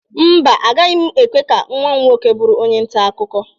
Mba, agaghị m ekwe ka nwa m nwoke bụrụ onye nta akụkọ